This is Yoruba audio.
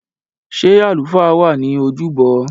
Ṣé àlùfáà wà ní ojúbọ?